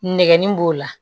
Nɛgɛnni b'o la